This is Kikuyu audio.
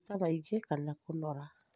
maguta maingĩ kana kũnora